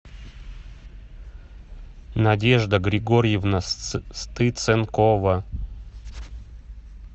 надежда григорьевна стыценкова